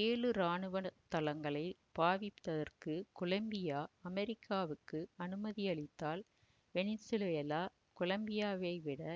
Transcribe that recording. ஏழு ராணுவ தளங்களை பாவிப்பதற்கு கொலம்பியா அமெரிக்காவுக்கு அனுமதியளித்தால் வெனிசுவேலா கொலம்பியாவிடையே